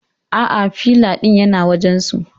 Aa, filay din yana wajan su